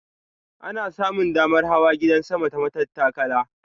Ana samun damar hawa gidan sama ta matattakala.